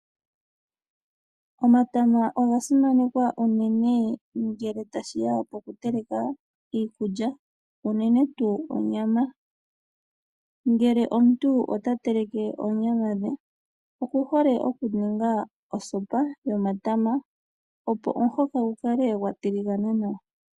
Omatama oga simanekwa unene ngele tashi ya poku teleka iikulya, unene tuu onyama. Ngele omuntu ota teleke oonyama dhe oku hole okuninga osopa yomatama, opo omuhoka gu kale gwa tiligana nawa.